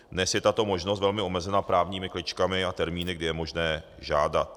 Dnes je tato možnost velmi omezena právními kličkami a termíny, kdy je možné žádat.